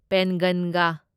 ꯄꯦꯟꯒꯟꯒ